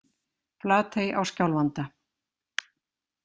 Flatey á Skjálfanda.